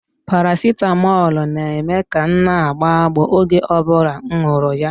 Paracetamol na-eme ka m na-agbọ agbọ oge ọ bụla m nwuru ya